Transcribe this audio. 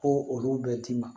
Ko olu bɛ d'i ma